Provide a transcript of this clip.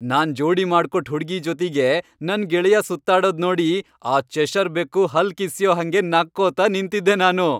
ನಾನ್ ಜೋಡಿ ಮಾಡ್ಕೊಟ್ ಹುಡ್ಗಿ ಜೊತಿಗೆ ನನ್ ಗೆಳೆಯ ಸುತ್ತಾಡೋದ್ ನೋಡಿ ಆ ಚೆಷರ್ ಬೆಕ್ಕು ಹಲ್ಲ್ ಕಿಸ್ಯೋ ಹಂಗೆ ನಕ್ಕೋತ ನಿಂತಿದ್ದೆ ನಾನು.